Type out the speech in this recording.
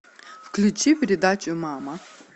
включи передачу мама